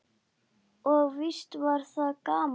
Og víst var það gaman.